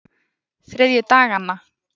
þriðjudaganna